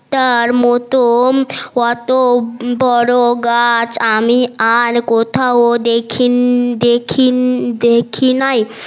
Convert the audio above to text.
তার মতন অতো বড় গাছ আমি আর কোথাও দেখিন দেখিন দেখি নাই